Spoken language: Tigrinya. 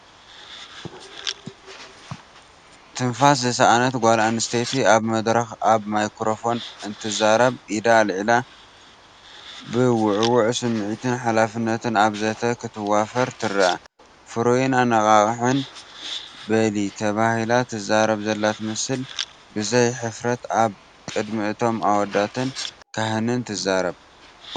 ትንፋስ ዝሰኣነት ጓል ኣንስተይቲ ኣብ መድረኽ፡ ኣብ ማይክሮፎን እትዛረብ ኢዳ ኣልዒላ፡ ብውዕዉዕ ስምዒትን ሓላፍነትን ኣብ ዘተ ክትዋፈር ትረአ። ፍሩይን ኣነቓቓሕን በሊ ተባሂላ ትዛረብ ዘላ ትመስል፣ ብዘይሕፍረት ኣብ ቅድሚ እቶም ኣወዳትን ካህንን ትዛረብ..